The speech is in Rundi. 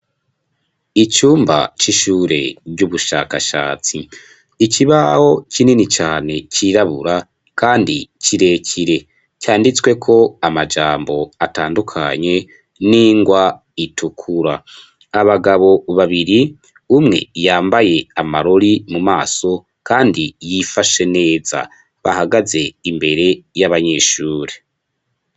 Icumba c'ishure ry'ubushakashatsi ikibaho kinini cane cirabura, kandi cirekire canditswe ko amajambo atandukanye n'ingwa itukura, abagabo babiri umwe yambaye amarori mu maso kandi yifashe neza bahagaze imbere y'abanyeshuri.